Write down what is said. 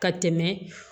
Ka tɛmɛ